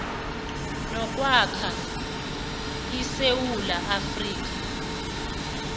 nokwakha isewula afrika